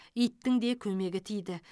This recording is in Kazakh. иттің де көмегі тиді